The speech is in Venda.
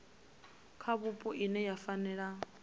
kha vhupo ine ya fanela